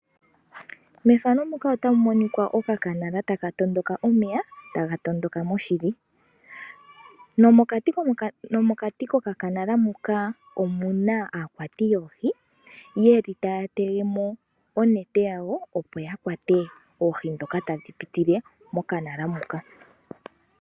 Methano muka otamu monika okanala taka tondoka omeya moshili. Nomokati kokanaala muka omuna aakwati yoohi yeli taya telemo oonete dhawo opo yakwatemo oohi dhoka tadhi piti mokanaala muka.